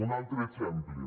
un altre exemple